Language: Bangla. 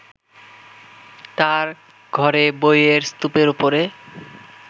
তাঁর ঘরে বইয়ের স্তূপের ওপরে